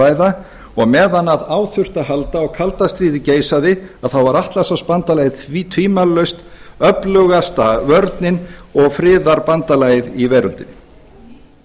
ræða og meðan á því þurfti að halda og kalda stríðið geisaði þá var atlantshafsbandalagið tvímælalaust öflugasta vörnin og friðarbandalagið í veröldinni